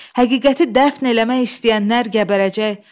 Həqiqəti dəfn eləmək istəyənlər gəbərəcək.